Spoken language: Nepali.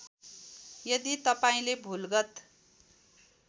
यदि तपाईँले भुलगत